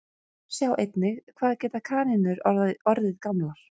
Sjá einnig Hvað geta kanínur orðið gamlar?